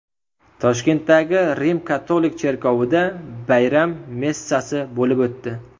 Toshkentdagi Rim-katolik cherkovida bayram messasi bo‘lib o‘tdi.